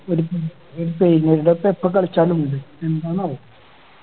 ഒരു പി pain വരണ ഇപ്പൊ എപ്പോ കളിച്ചാലും ഉണ്ട് എന്താണാവോ